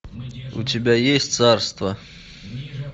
у тебя есть царство